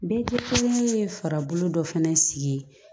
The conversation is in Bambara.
Bɛɛ kelen ye farikolo dɔ fana sigi